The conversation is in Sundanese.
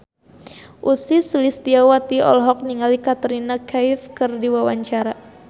Ussy Sulistyawati olohok ningali Katrina Kaif keur diwawancara